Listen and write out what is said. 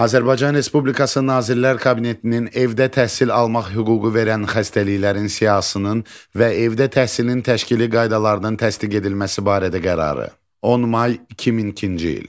Azərbaycan Respublikası Nazirlər Kabinetinin evdə təhsil almaq hüququ verən xəstəliklərin siyahısının və evdə təhsilin təşkili qaydalarının təsdiq edilməsi barədə qərarı, 10 may 2002-ci il.